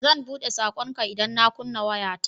Zan buɗe saƙonka idan na kunna wayata.